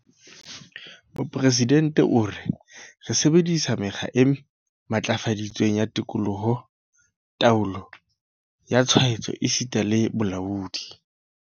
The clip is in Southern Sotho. Mopresidente o re, Re sebedi-sa mekgwa e matlafaditsweng ya tekolo, taolo ya tshwaetso esita le bolaodi.